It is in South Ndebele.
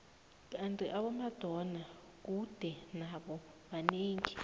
kandi abomabona kude nabo banengi